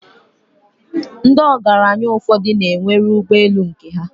Ndi ogranya ufodu n nwere ụgbe elū nke ha